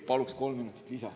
Paluks kolm minutit lisa.